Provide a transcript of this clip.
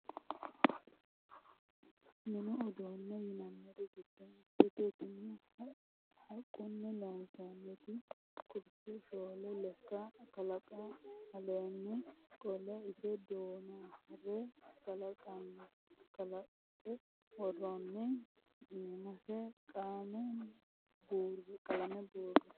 Mini uduune yinanniri giddo mitete tini haquni loonsonniti kurse shoole lekka kalanqe aleeni qolle ise duhanore kalanqe worooni iimase qalame buure.